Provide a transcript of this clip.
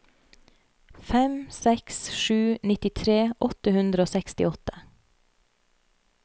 fem seks seks sju nittitre åtte hundre og sekstiåtte